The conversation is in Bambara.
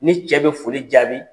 Ni cɛ bi foli jaabi